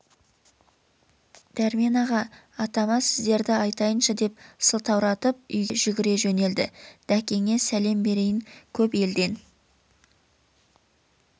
дәрмен аға атама сіздерді айтайыншы деп сылтауратып үйге қарай жүгіре жөнелді дәкеңе сәлем берейін көп елден